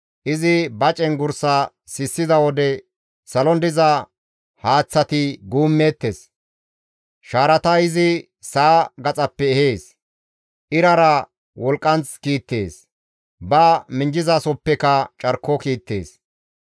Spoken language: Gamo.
Izi ba cenggurssa sissiza wode salon diza haaththati guummeettes; shaarata izi sa7a gaxappe ehees; irara wolqqanth kiittees; ba minjjasohoppeka carko kiittees.